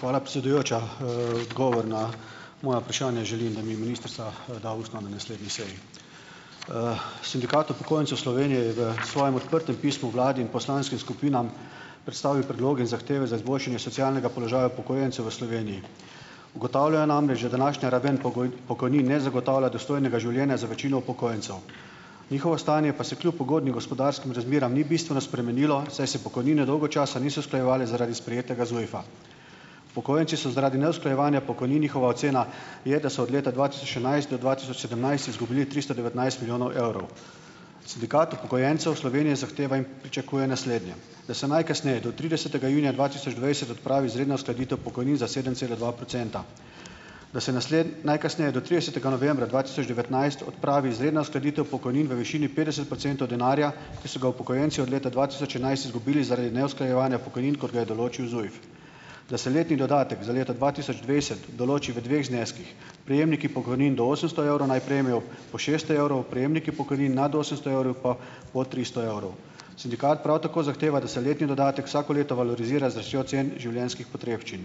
Hvala, predsedujoča. Odgovor na moje vprašanje želim, da mi ministrica da ustno, na naslednji seji. Sindikat upokojencev Slovenije je v svojem odprtem pismu vladi in poslanskim skupinam predstavil predloge in zahteve za izboljšanje socialnega položaja upokojencev v Sloveniji. Ugotavljajo namreč, da današnja raven pokojnin ne zagotavlja dostojnega življenja za večino upokojencev, njihovo stanje pa se kljub ugodnim gospodarskim razmeram ni bistveno spremenilo, saj se pokojnine dolgo časa niso usklajevale zaradi sprejetega ZUJF-a. Upokojenci so zaradi neusklajevanja pokojnin, njihova ocena je, da so od leta dva tisoč enajst do dva tisoč sedemnajst izgubili tristo devetnajst milijonov evrov. Sindikat upokojencev Slovenije zahteva in pričakuje naslednje: da se najkasneje do tridesetega junija dva tisoč dvajset odpravi izredna uskladitev pokojnin za sedem cela dva procenta. Da se najkasneje do tridesetega novembra dva tisoč devetnajst odpravi izredna uskladitev pokojnin v višini petdeset procentov denarja, ki so ga upokojenci od leta dva tisoč enajst izgubili zaradi neusklajevanja pokojnin, kot ga je določil ZUJF. Da se letni dodatek za leto dva tisoč dvajset določi v dveh zneskih. Prejemniki pokojnin do osemsto evrov naj prejmejo po šeststo evrov, prejemniki pokojnin nad osemsto evrov pa po tristo evrov. Sindikat prav tako zahteva, da se letni dodatek vsako leto valorizira z rastjo cen življenjskih potrebščin.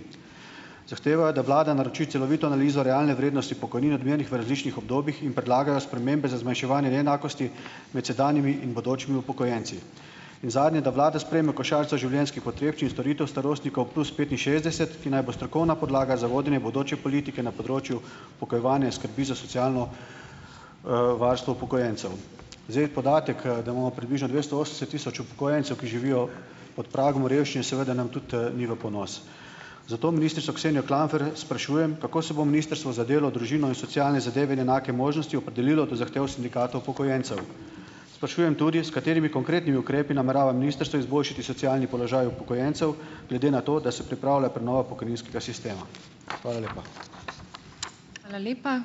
Zahteva, da vlada naroči celovito analizo realne vrednosti pokojnine, odmerjene v različnih obdobjih, in predlagajo spremembe za zmanjševanje neenakosti med sedanjimi in bodočimi upokojenci. In zadnje, da vlada sprejeme košarico življenjskih potrebščin storitev starostnikov plus petinšestdeset, ki naj bo strokovna podlaga za vodenje bodoče politike na področju pogojevanja skrbi za socialno, varstvo upokojencev. Zdaj, podatek, da imamo približno dvesto osemdeset tisoč upokojencev, ki živijo pod pragom revščine, seveda nam tudi, ni v ponos. Zato ministrico Ksenijo Klampfer sprašujem, kako se bo Ministrstvo za delo, družino in socialne zadeve in enake možnosti opredelilo do zahtev sindikatov upokojencev. Sprašujem tudi, s katerimi konkretnimi ukrepi namerava ministrstvo izboljšati socialni položaj upokojencev, glede na to, da se pripravlja prenova pokojninskega sistema. Hvala lepa.